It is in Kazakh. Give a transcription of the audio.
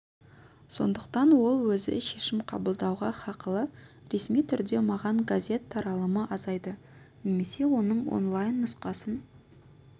сондықтан ол өзі шешім қабылдауға хақылы ресми түрде маған газет таралымы азайды немесе оның онлайн-нұсқасын